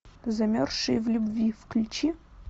замерзшие в любви включи